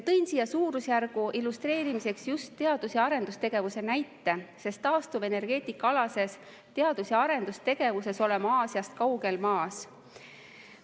Tõin siia suurusjärgu illustreerimiseks just teadus‑ ja arendustegevuse näite, sest taastuvenergeetikaalases teadus‑ ja arendustegevuses oleme Aasiast kaugel maas.